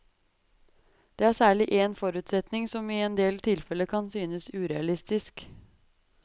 Det er særlig èn forutsetning som i en del tilfeller kan synes urealistisk.